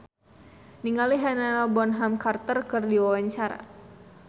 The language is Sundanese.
Arie Daginks olohok ningali Helena Bonham Carter keur diwawancara